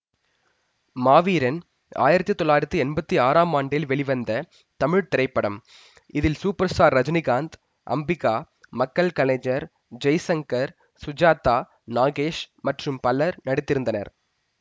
மாவீரன் ஆயிரத்தி தொள்ளாயிரத்தி எம்பத்தி ஆறாம் ஆண்டில் வெளிவந்த தமிழ் திரைப்படம் இதில் சூப்பர்ஸ்டார் ரஜினிகாந்த் அம்பிகா மக்கள்கலைஞர் ஜெய்சங்கர் சுஜாதா நாகேஷ் மற்றும் பலர் நடித்திருந்தனர்